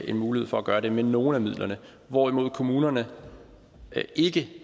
en mulighed for at gøre det med nogle af midlerne hvorimod kommunerne ikke